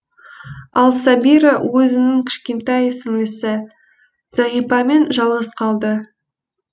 ал сәбира өзінің кішкентай сіңлісі зағипамен жалғыз қалды